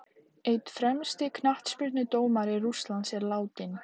Einn fremsti knattspyrnudómari Rússlands er látinn.